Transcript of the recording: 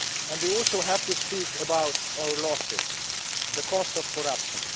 We also have to speak about our losses the cost of corruption.